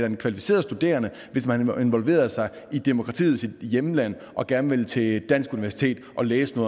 en kvalificeret studerende hvis man involverer sig i demokratiets hjemland og gerne vil til et dansk universitet og læse